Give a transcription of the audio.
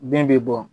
Bin bɛ bɔ